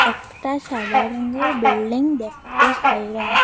একটা সাদা রঙ্গের বিল্ডিং দেখতে পাইলাম।